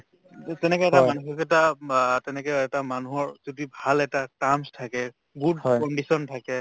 উম তেনেকে এটা মানুহৰ এটা বা তেনেকে এটা মানুহৰ যদি ভাল এটা terms থাকে good condition থাকে